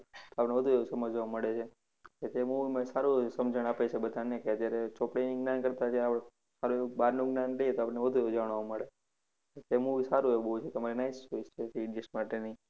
તો વધુ સમજવા મળે છે. કે તે movie સારું એવું સમજણ આપે છે બધાને કે જ્યારે ચોપડીના કરતા જે આપડે સારું એવું બારનું જ્ઞાન લઈએ તો આપડે વધારે જાણવા મળે. તે movie સારું એવું બૌ છે. તમારી nice choice છે three idiots માટેની.